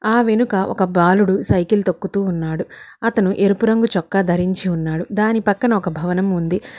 ఆ వెనుక ఒక బాలుడు సైకిల్ తొక్కుతూ ఉన్నాడు అతను ఎరుపు రంగు చొక్కా ధరించి ఉన్నాడు దాని పక్కన ఒక భవనం ఉంది.